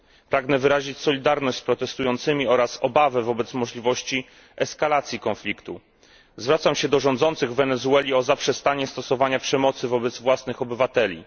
Pragnę wyrazić solidarność z protestującymi oraz obawę wobec możliwości eskalacji konfliktu. Zwracam się do rządzących w Wenezueli o zaprzestanie stosowania przemocy wobec własnych obywateli.